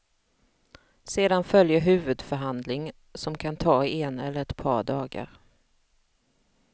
Sedan följer huvudförhandling, som kan ta en eller ett par dagar.